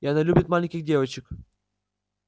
и она любит маленьких девочек